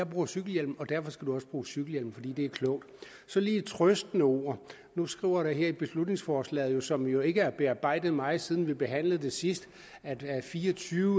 bruger cykelhjelm og derfor skal børnene også bruge cykelhjelm fordi det er klogt så lige et trøstende ord nu står der her i beslutningsforslaget som jo ikke er bearbejdet meget siden vi behandlede det sidst at fire og tyve